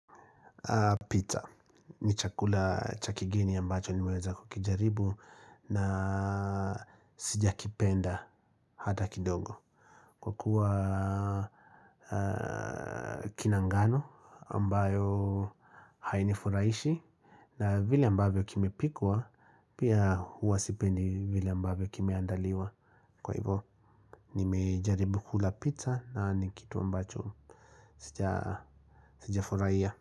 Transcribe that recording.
Pizza, ni chakula cha kigeni ambacho nimeweza kukijaribu na sija kipenda hata kidogo. Kwa kuwa kina ngano ambayo haini furahishi na vile ambayo kimepikwa pia huwa sipendi vile ambavyo kimeandaliwa kwa hivo, ni mejaribu kula pizza na nikitu ambacho sija furahia.